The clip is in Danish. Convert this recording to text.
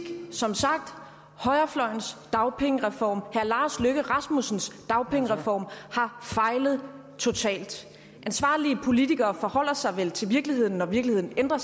som sagt højrefløjens dagpengereform herre lars løkke rasmussens dagpengereform har fejlet totalt ansvarlige politikere forholder sig vel til virkeligheden når virkeligheden ændrer